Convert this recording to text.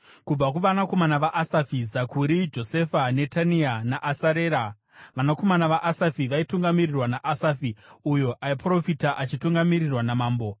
Kubva kuvanakomana vaAsafi: Zakuri, Josefa, Netania naAsarera. Vanakomana vaAsafi vaitungamirirwa naAsafi uyo aiprofita achitungamirirwa namambo.